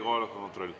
Kohaloleku kontroll.